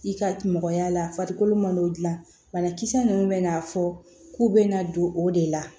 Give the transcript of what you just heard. I ka mɔgɔya la farikolo malo dilan banakisɛ ninnu bɛna fɔ k'u bɛna don o de la